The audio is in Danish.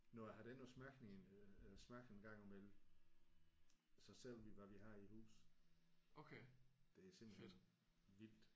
Når jeg har dig inde og smage en øh smage en gang i mellem så ser du hvad vi har i huset. Det er simpelthen vildt